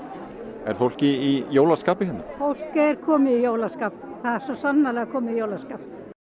er fólk í jólaskapi fólk er komið í jólaskap það er svo sannarlega komið í jólaskap